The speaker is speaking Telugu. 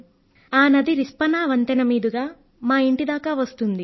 ఆ నది రిస్పనా వంతెన మీదుగా మా ఇంటి దాకా వస్తుంది